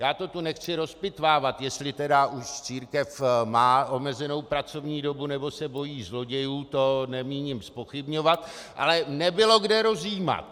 Já to tu nechci rozpitvávat, jestli tedy už církev má omezenou pracovní dobu, nebo se bojí zlodějů, to nemíním zpochybňovat, ale nebylo, kde rozjímat.